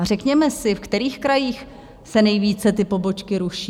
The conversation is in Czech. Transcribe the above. A řekněme si, ve kterých krajích se nejvíce ty pobočky ruší?